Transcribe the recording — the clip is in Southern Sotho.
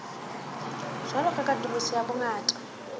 jwalo ka katoloso ya bongata